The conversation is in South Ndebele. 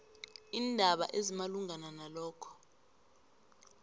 iindaba ezimalungana nalokho